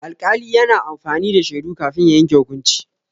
Alƙali yana amfani da shaidu kafin ya yanke hukunci.